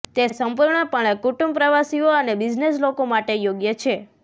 તે સંપૂર્ણપણે કુટુંબ પ્રવાસીઓ અને બિઝનેસ લોકો માટે યોગ્ય છે